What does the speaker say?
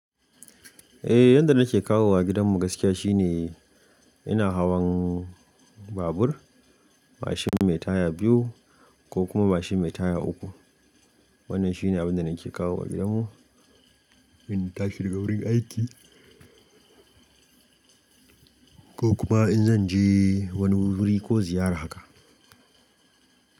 Eh, yanda nake kawowa gidanmu gaskiya shine ina hawan babur, mashin mai taya biyu ko kuma mashin mai taya uku. Wannan shine abun da nake kawo wa gidanmu in-- tashi daga wurin aiki ko kuma in zan je wani wuri ko ziyara haka.